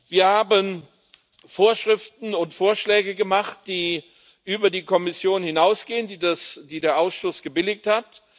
Wir haben Vorschriften und Vorschläge gemacht, die über die der Kommission hinausgehen, die der Ausschuss gebilligt hat.